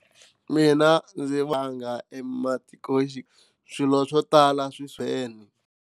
Mina ndzi vanga swilo swo tala